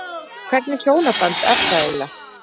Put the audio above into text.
Hvernig hjónaband er það eiginlega?